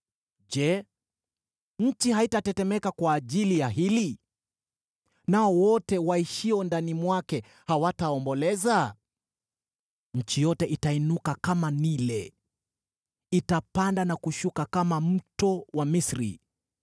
“Je, nchi haitatetemeka kwa ajili ya hili, nao wote waishio ndani mwake hawataomboleza? Nchi yote itainuka kama Naili; itapanda na kushuka kama mto wa Misri.